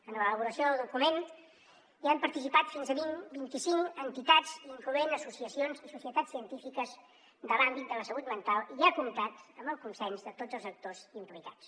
en l’elaboració del document hi han participat fins a vint i cinc entitats incloent associacions i societats científiques de l’àmbit de la salut mental i ha comptat amb el consens de tots els actors implicats